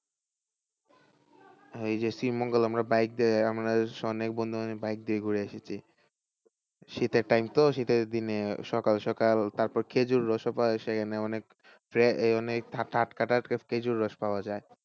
ওই যে শ্রীমঙ্গল আমরা bike দিয়ে আমরা অনেক বন্ধুরা bike দিয়ে ঘুরে এসেছি শীতের time তো শীতের দিনে সকাল সকাল তারপর খেজুর রস ও পাওয়া যায় সেখানে অনেক অনেক টাটকা টাটকা খেজুর রস পাওয়া যায়।